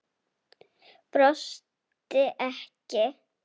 Brosti ekki.